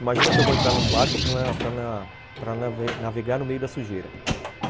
Imagina que eu vou entrar num barco para para para nave navegar no meio da sujeira.